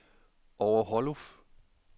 Over Holluf